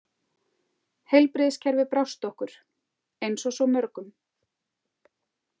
Heilbrigðiskerfið brást okkur, eins og svo mörgum.